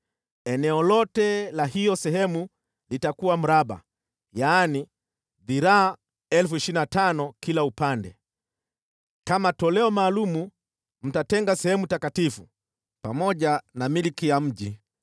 Eneo lote la hiyo sehemu litakuwa mraba, yaani, dhiraa 25,000 kila upande. Kama toleo maalum mtatenga sehemu takatifu, pamoja na milki ya mji.